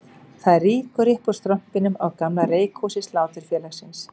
Það rýkur upp úr strompinum á gamla reykhúsi Sláturfélagsins